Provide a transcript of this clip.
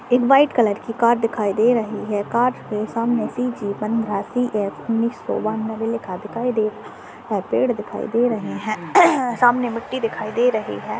एक white colour की car दिखाई दे रही है कार के सामने सी_जी पंद्रह सी_एफ उन्नीस सो बानबे लिखा दिखाई दे रहा है पेड़ दिखाई दे रहे है सामने मिट्टी दिखाई दे रही है।